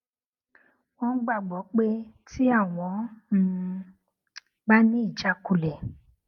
wón gbàgbó pé tí àwọn um bá ní ìjákulẹ